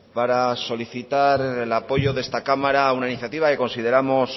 para solicitar el apoyo de esta cámara a una iniciativa que consideramos